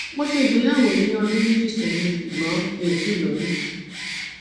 mo ṣe ìgbéyàwó ní ọdún méjì sẹyìn ṣùgbọn mi ò tíì lóyún